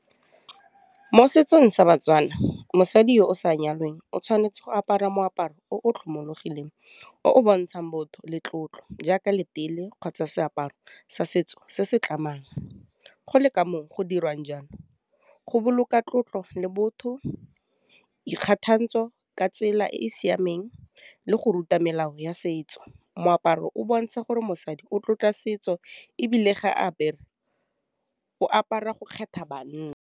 Mo setsong sa batswana, mosadi yo o sa nyalwang o tshwanetse go apara moaparo o tlhomologileng, o o bontshang botho le tlotlo jaaka letelle kgotsa seaparo sa setso se se tlamang, go le kamoo, go dirwang jalo, go boloka tlotlo le botho ikgathantsho ka tsela e e siameng, le go ruta melao ya setso. Moaparo o bontsha gore mosadi o tlotla setso ebile ga apere o apara go kgetha .